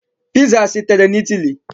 Piza sitere na Italy.